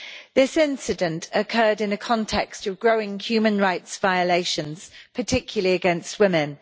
This incident occurred in a context of growing human rights violations, particularly against women.